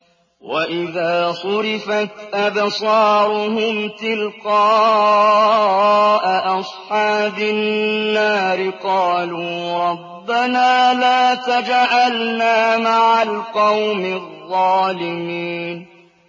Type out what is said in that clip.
۞ وَإِذَا صُرِفَتْ أَبْصَارُهُمْ تِلْقَاءَ أَصْحَابِ النَّارِ قَالُوا رَبَّنَا لَا تَجْعَلْنَا مَعَ الْقَوْمِ الظَّالِمِينَ